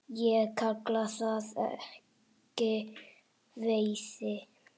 Ég kalla það ekki veiði.